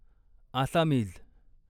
Assamese